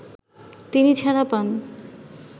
তিনি ছাড়া পান